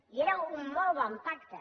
i era un molt bon pacte